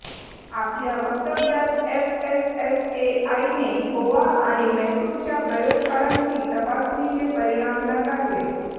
आपल्या वक्तव्यात एफएसएसएआई ने गोवा आणि म्हैसूरच्या प्रयोगशाळांची तपासणीचे परिणाम नाकारले